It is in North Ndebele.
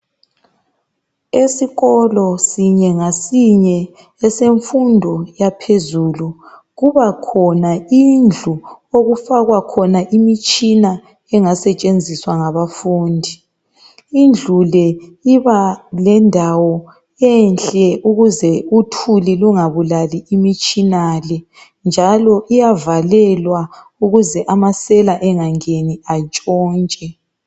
Esikolo esinye lesinye, esemfundo yezinga laphezulu, kuba khona indlu okufakwa khona imitshina engasetshenziswa ngabafundi. Indlu le iba lendawo enhle ukuze uthuli lungabulali imitshina le, njalo iyavalelwa ukuze amasela engangeni antshontshe.